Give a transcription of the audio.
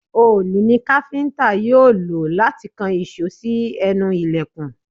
Òòlù ni káfíntà yóò lò láti kan ìṣó sí ẹnu ìlẹ̀kùn.